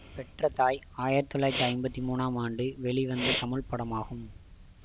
பெற்ற தாய் ஆயிரத்தி தொள்ளாயிரத்தி ஐம்பத்தி மூன்றாம் ஆண்டு வெளிவந்த தமிழ்ப்படமாகும்